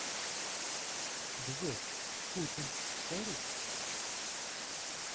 джой путин старый